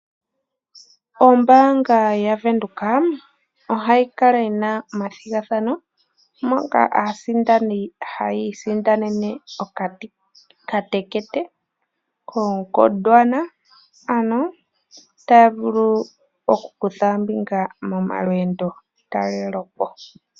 Ombanga yaVenduka ohayi kala yi na omathigathano moka aasindani haya isindanene okatekete koGondwana ano ta vulu okukutha ombinga molweendotalelepo.